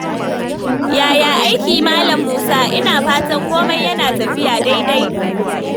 Yaya aiki, Malam Musa? Ina fatan komai yana tafiya daidai.